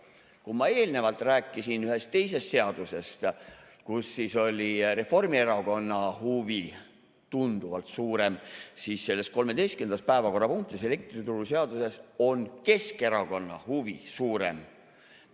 Kui ma eelnevalt rääkisin ühest teisest seadusest, kus oli Reformierakonna huvi tunduvalt suurem, siis selles 13. päevakorrapunktis, elektrituruseaduses, on Keskerakonna huvi suurem.